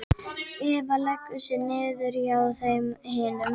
Eva leggur sig niður hjá þeim hinum.